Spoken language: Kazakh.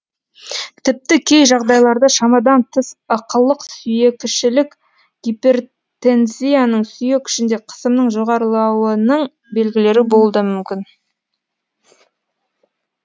тіпті кей жағдайларда шамадан тыс ықылық сүйекішілік гипертензияның сүйек ішінде қысымның жоғарылауының белгілері болуы да мүмкін